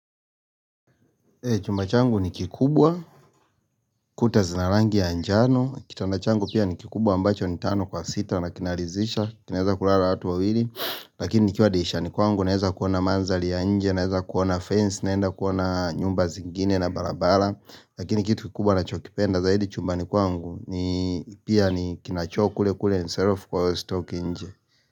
Chumba changu ni kikubwa, kuta zina rangi ya njano, kitanda changu pia ni kikubwa ambacho ni tano kwa sita na kinalizisha, kinaeza kulara watu wawili, lakini nikiwa ridishani kwangu naeza kuona manzali ya nje, naeza kuona fence, naenda kuona nyumba zingine na barabara, lakini kitu kikubwa nachokipenda, zaidi chumbani kwangu ni, pia ni kinacho kule kule ni self call stock nje.